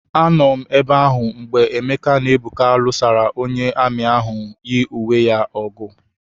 Anọ m ebe ahụ mgbe Emeke na Ebuka lụsara onye amị ahụ yi uwe ya ọgụ.